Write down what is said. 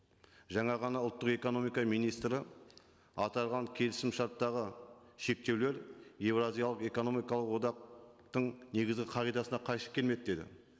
жаңа ғана ұлттық экономика министрі аталған келісімшарттағы шектеулер еуразиялық экономикалық одақтың негізгі қағидасына қайшы келмейді деді